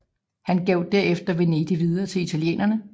Han gav derefter Venedig videre til italienerne